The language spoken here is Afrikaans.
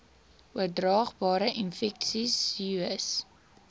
oordraagbare infeksies sois